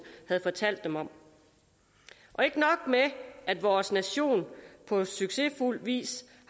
havde fortalt dem om ikke nok med at vores nation på succesfuld vis